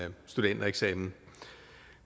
studentereksamen